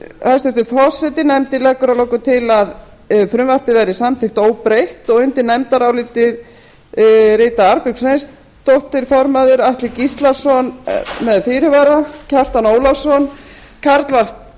hæstvirtur forseti nefndin leggur að lokum til að frumvarpið verði samþykkt óbreytt undir nefndarálitið rita arnbjörg sveinsdóttir formaður atli gíslason með fyrirvara kjartan ólafsson karl fimmti